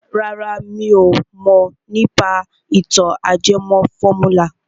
Rárá mi ò mọ̀ nípa ìtàn ajẹmọ fọ́múlà.